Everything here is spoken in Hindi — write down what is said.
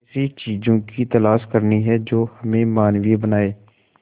ऐसी चीजों की तलाश करनी है जो हमें मानवीय बनाएं